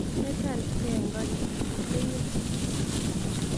Metooretkey eng' ko keter leyye